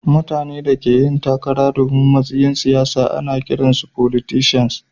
Mutane da ke takara domin matsayin siyasa ana kiran su"Folitisans."